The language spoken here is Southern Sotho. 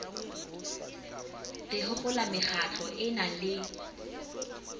re hopola mekgatlo ena le